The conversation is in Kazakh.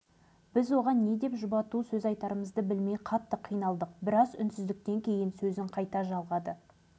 қарғыс атқыр полигон түбімізге жетті-ау деп жібек тағы да өксіп-өксіп жылап жіберді